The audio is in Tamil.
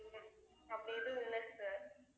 இல்லை அப்படியேதும் இல்லை sir